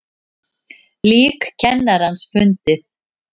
Lík kennarans fundið